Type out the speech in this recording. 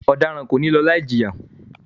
Ọdaran ko ni lọ laijiya!